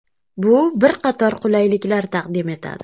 Bu bir qator qulayliklar taqdim etadi.